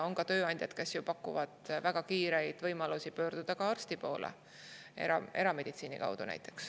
On ka tööandjaid, kes pakuvad erameditsiini kaudu väga kiiret võimalust pöörduda arsti poole.